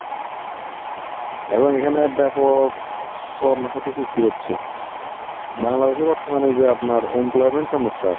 এখন এইখানে ব্যাপক কর্মক্ষেত্রে সৃষ্টি হচ্ছে। বাংলাদেশে বর্তমানে যে আপনার employment সমস্যা